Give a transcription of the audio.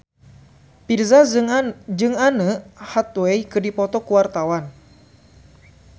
Virzha jeung Anne Hathaway keur dipoto ku wartawan